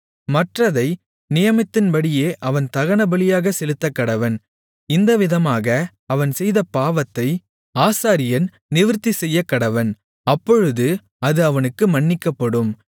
மற்றதை நியமத்தின்படியே அவன் தகனபலியாகச் செலுத்தக்கடவன் இந்தவிதமாக அவன் செய்த பாவத்தை ஆசாரியன் நிவிர்த்தி செய்யக்கடவன் அப்பொழுது அது அவனுக்கு மன்னிக்கப்படும்